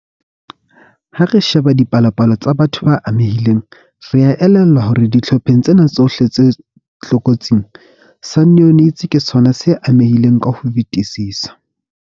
Ha re sheba dipalopalo tsa batho ba amehileng, re a elellwa hore dihlopheng tsena tsohle tse tlokotsing, sa neonates ke sona se amehileng ka ho fetisisa.